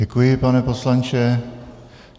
Děkuji, pane poslanče.